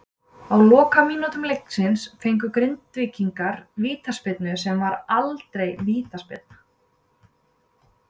Á lokamínútu leiksins fengu Grindvíkingar vítaspyrnu sem var aldrei vítaspyrna.